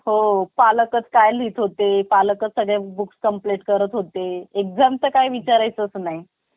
सगळ्यात important म्हणजे body language तुम्‍हाला तुमच्‍या body language म्हणजे शरीराच्या हालचाली कडे लक्ष देणे देखील तिथकेच गरजेचे आहे ओळख करून देत असताना पूर्ण आत्मविश्‍वासाने त्‍यांच्याशी